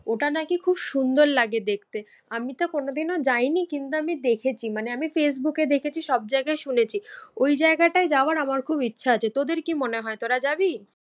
ওটা নাকি খুব সুন্দর লাগে দেখতে। আমিতো কোনো দিনও যায়নি কিন্তু আমি দেখেছি মানে আমি ফেসবুকে দেখেছি সব জায়গায় শুনেছি। ওই জায়গাটায় যাওয়ার আমার খুব ইচ্ছে আছে। তোদের কি মনে হয় তোরা যাবি?